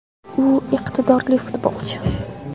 U iqtidorli futbolchi.